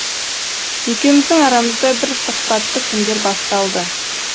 екеуміздің арамызда бір сұхбатты күндер басталды